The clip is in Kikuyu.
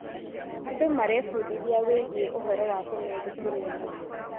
Andũ marebundithia wĩgiĩ ũhoro wa tene thukuru-inĩ.